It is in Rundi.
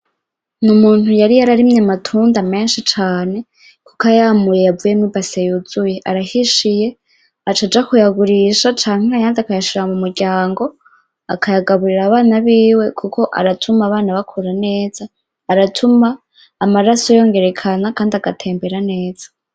Ni umuntu yari yararimye amatunda menshi cane kuko ayamuye yavuyemwo ibase yuzuye, arahishiye acaja kuyagurisha canke ayandi akayashira mu muryango akayagaburira abana biwe kuko aratuma abana bakura neza, aratuma amaraso yongerekana kandi agatembera neza.